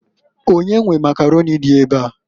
Onye nwe Makaroni a di ebea?